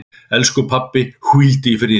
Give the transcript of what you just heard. Elsku pabbi, hvíldu í friði.